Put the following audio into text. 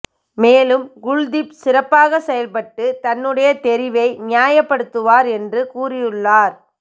மேலும் குல்தீப் சிறப்பாக செயல்பட்டு தன்னுடைய தெரிவை நியாயப்படுத்துவார் என்று கூறியுள்ளார்